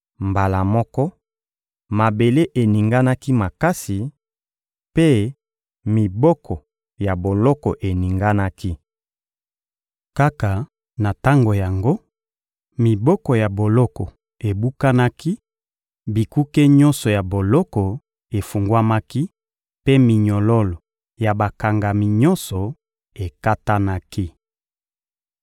Mbala moko, mabele eninganaki makasi, mpe miboko ya boloko eninganaki. Kaka na tango yango, miboko ya boloko ebukanaki, bikuke nyonso ya boloko efungwamaki, mpe minyololo ya bakangami nyonso ekatanaki.